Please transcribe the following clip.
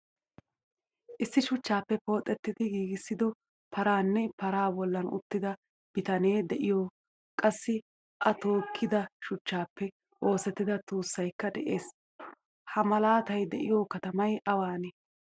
Issi shuchchappe pooxidi giigisido paraanne paraa bollan uttida bitane deiyo qassi a tookida shuchchappe oosettida tuussaykka de'ees. Ha malataay de'iyo katamay awane?